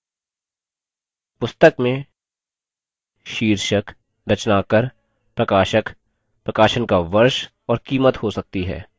पुस्तक में शीर्षक रचनाकार प्रकाशक प्रकाशन का वर्ष और कीमत हो सकती है